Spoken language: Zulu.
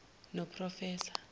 noprofessor